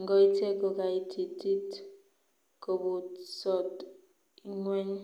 Ngoite kogaititit, kobutsot ingweny